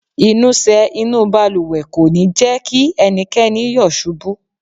Ìnusẹ̀ inúu balùwẹ̀ kò ní jẹ́ kí ẹnikẹ́ni yọ̀ ṣubú.